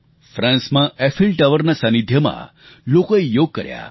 ફ્રાંસમાં Eiffel tower સાનિધ્યમાં લોકોએ યોગ કર્યા